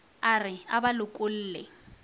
a re a ba lokolle